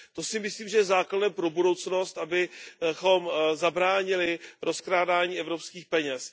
To si myslím, že je základem pro budoucnost, abychom zabránili rozkrádání evropských peněz.